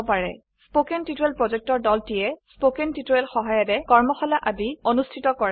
কথন শিক্ষণ প্ৰকল্পৰ দলটিয়ে কথন শিক্ষণ সহায়িকাৰে কৰ্মশালা আদি অনুষ্ঠিত কৰে